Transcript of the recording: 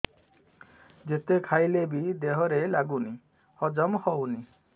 ଯେତେ ଖାଇଲେ ବି ଦେହରେ ଲାଗୁନି ହଜମ ହଉନି